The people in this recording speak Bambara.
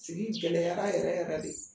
Sigi gɛlɛyara yɛrɛ yɛrɛ de.